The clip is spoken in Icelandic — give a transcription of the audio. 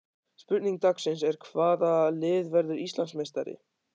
Spurning dagsins er: Hvaða lið verður Íslandsmeistari?